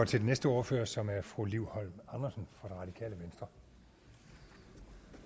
til den næste ordfører som er fru liv holm andersen fra